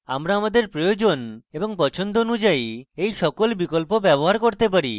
আমরা আমাদের প্রয়োজন এবং পছন্দ অনুযায়ী we সকল বিকল্প ব্যবহার করতে পারি